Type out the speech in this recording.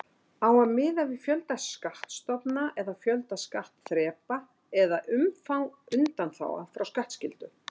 Á að miða við fjölda skattstofna eða fjölda skattþrepa eða umfang undanþága frá skattskyldu?